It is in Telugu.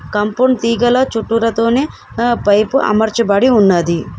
కంపౌండ్ తీగల చుట్టూరా తోనే ఆ పైపు అమర్చబడి ఉన్నది.